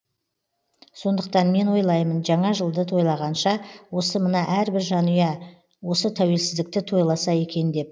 сондықтан мен ойлаймын жаңа жылды тойлағанша осы мына әрбір жанұя осы тәуелсіздікті тойласа екен деп